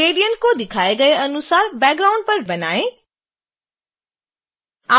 gradient को दिखाए गए अनुसार background पर ड्रैग करें